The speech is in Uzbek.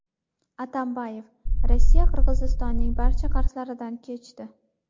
Atambayev: Rossiya Qirg‘izistonning barcha qarzlaridan kechdi.